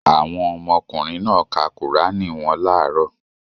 Àwọn ọmọkùnrin náà ka Kùránì wọn láàárọ̀.